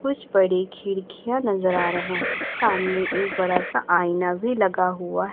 कुछ बड़ी खिड़कियां नजर आ रहे हैं सामने एक बड़ा सा आईना भी लगा हुआ--